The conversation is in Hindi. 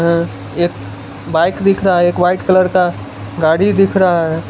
है एक बाइक दिख रहा है एक व्हाइट कलर का गाड़ी दिख रहा है।